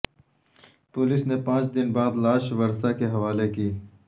police نے پانچ دن بعد لاش ورثاء کے حوالے کی